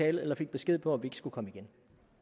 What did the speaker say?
eller fik besked på at vi skulle komme igen